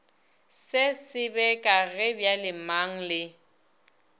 se sebeka ge bjalemang le